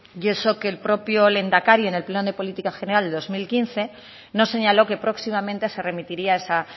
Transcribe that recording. y eso que el propio lehendakari en el pleno de política general de dos mil quince nos señaló que próximamente se remitiría esa